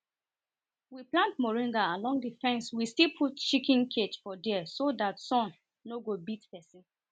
we plant moringa along the fence we still put chiken cage for there so that sun nor go beat person